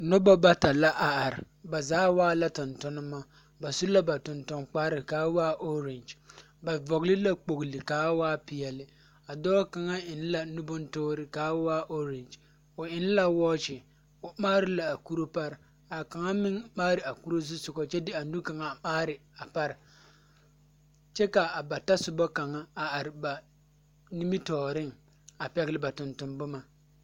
Noba bata la a are, ba zaa waa la tontonema. Ba su la ba tonton-kparre kaa waa oorangy, ba vɔgle la kpogli kaa waa peɛle. A dɔɔ kaŋa eŋ la nubontoore kaa waa oorangy, o eŋ wɔɔkye, o mhaari la a kuro pare, kaa kaŋa meŋ mhaari a kuro zusogɔ kyɛ de a nu kaŋa a mhaari a pare. Kyɛ ka a ba tasoba kaŋa a are ba, nimitɔɔreŋ, a pɛgle ba tonton-boma.